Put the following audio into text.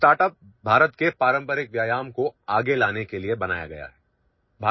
हमारा ଷ୍ଟାର୍ଟଅପ୍ भारत के पारंपरिक व्यायाम कोआगे लाने के लिए बनाया गया है